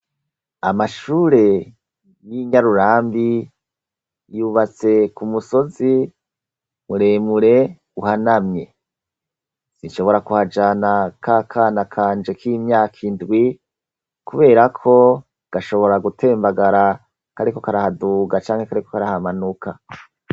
amashure y'inyarurambi yubatse ku musozi muremure uhanamye sinshobora kuhajana k'akana kanje k'imyaka indwi kubera ko gashobora gutembagara kariko karahaduga canke kariko karahamanuka